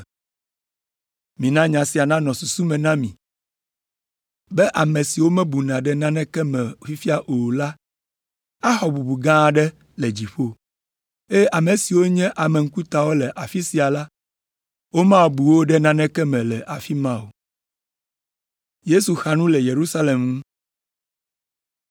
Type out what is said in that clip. Mina nya sia nanɔ susu me na mi be ame siwo womebuna ɖe naneke me fifia o la axɔ bubu gã aɖe le dziƒo, eye ame siwo nye ame ŋkutawo le afi sia la, womabu wo ɖe naneke me le afi ma o.”